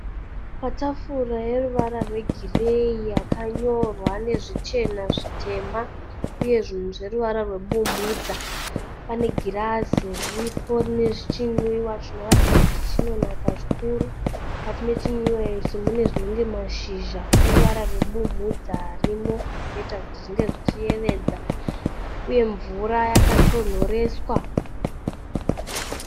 Patafura yeruvara rwegireyi yakanyorwa nezvichema, zvitema uye zvinhu zveruvara rwebumudza. Pane girazi riripo rine chinwiwa chinoratidza kuti chinonaka zvikuru, mukati mechinwiwa ichi mune zvinenge mashizha eruvara rwebumudza arimo zvinoita kuti zvinge zvichiyevedza, uye mvura yakatonhoreswa.